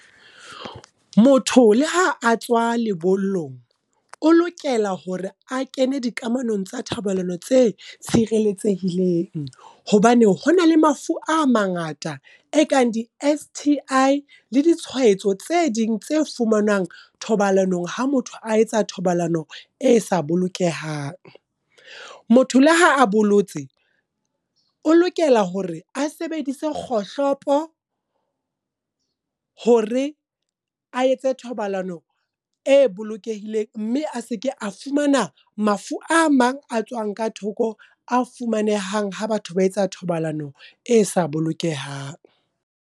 Motho le ha a tswa lebollong, o lokela hore a kene dikamanong tsa thobalano tse tshireletsehileng. Hobane hona le mafu a mangata, e kang di-S_T_I, le di tshwaetso tse ding tse fumanwang thobalanong ha motho a etsa thobalano e sa bolokehang. Motho le ha a boletse, o lokela hore a sebedise kgohlopo hore a etse thobalano e bolokehileng. Mme a seke a fumana mafu a mang a tswang ka thoko, a fumanehang ha batho ba etsa thobalano e sa bolokehang.